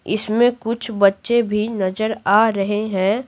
इसमें कुछ बच्चे भी नजर आ रहे हैं।